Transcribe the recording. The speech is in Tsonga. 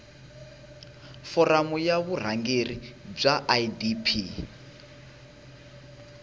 foramu ya vurhangeri bya idp